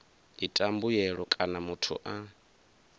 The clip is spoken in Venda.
ita mbuyelo kana muthu a